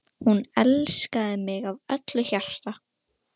Hættu þessu tauti og farðu að sofa.